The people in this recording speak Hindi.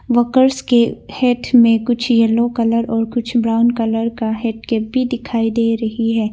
वर्कर्स के हेड में कुछ येलो कलर और कुछ ब्राउन कलर का हेड केप भी दिखाई दे रही है।